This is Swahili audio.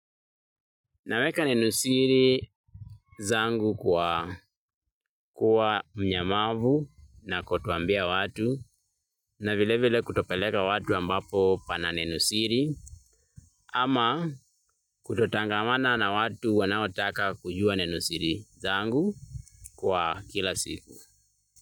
Naweka nenosiri zangu kwa mnyamavu na kutowaambia watu na vile vile kutopeleka watu ambapo pana nenosiri ama kutotangamana na watu wanaotaka kujua nenosiri zangu kila siku.